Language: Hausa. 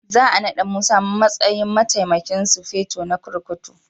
Za a nada Musa a matsayin Mataimakin Sufeto na kurkuku